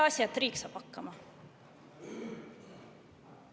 Peaasi, et riik saab hakkama.